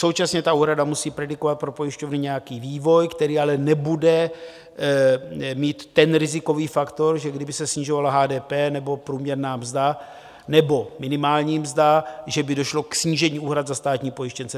Současně ta úhrada musí predikovat pro pojišťovny nějaký vývoj, který ale nebude mít ten rizikový faktor, že kdyby se snižovala HDP nebo průměrná mzda nebo minimální mzda, že by došlo k snížení úhrad za státní pojištěnce.